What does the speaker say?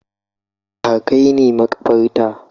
Ka kai ni makabarta